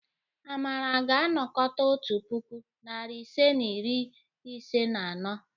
Amara ga-anakọta otu puku, narị ise na iri ise na anọ.